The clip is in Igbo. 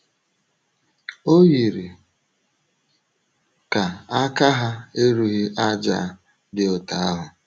O yiri ka aka ha erughị àjà dị otú ahụ.